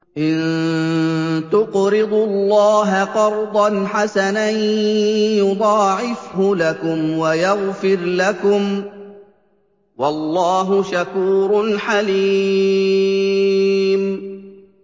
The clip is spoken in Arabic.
إِن تُقْرِضُوا اللَّهَ قَرْضًا حَسَنًا يُضَاعِفْهُ لَكُمْ وَيَغْفِرْ لَكُمْ ۚ وَاللَّهُ شَكُورٌ حَلِيمٌ